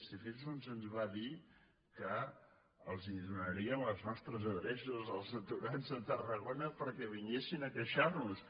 i fins i tot se’ns va dir que els donarien les nostres adreces als aturats de tarragona perquè vin·guessin a queixar·se